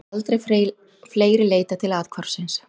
Aldrei fleiri leitað til athvarfsins